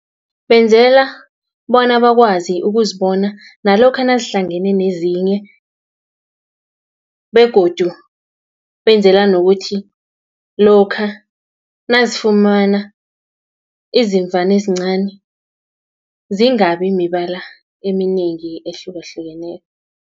Benzela bona bakwazi ukuzibona, nalokha nazihlangene nezinye, begodu benzela nokuthi, lokha nazifumana izimvana ezincani, zingabi mibala eminengi ehlukahlukeneko.